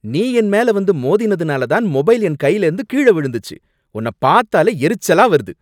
நீ என் மேல வந்து மோதினதுனால தான் மொபைல் என் கைலேந்து கீழ விழுந்துச்சு, உன்ன பாத்தாலே எரிச்சலா வருது.